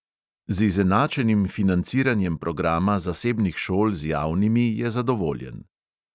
Z izenačenim financiranjem programa zasebnih šol z javnimi je zadovoljen.